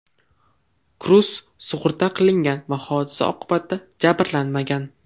Kruz sug‘urta qilingan va hodisa oqibatida jabrlanmagan.